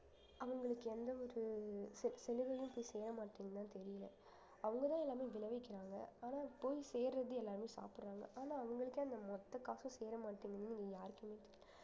அவுங்களுக்கு எந்த ஒரு ச~ சலுகையும் போய் சேர மாட்டேங்குதுன்னுதான் தெரியல அவங்க தான் எல்லாமே விளைவிக்கிறாங்க ஆனா போய் சேர்றது எல்லாருமே சாப்பிடுறாங்க ஆனா அவங்களுக்கே அந்த மொத்த காசும் சேர மாட்டேங்குதுன்னு இங்க யாருக்குமே தெரி~